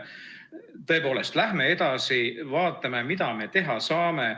Tõepoolest, läheme edasi, vaatame, mida me teha saame.